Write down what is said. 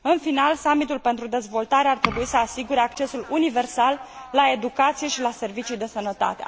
În final, summitul pentru dezvoltare ar trebui să asigure accesul universal la educație și la servicii de sănătate.